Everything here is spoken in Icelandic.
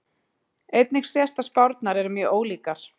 Einnig sést að spárnar eru mjög ólíkar.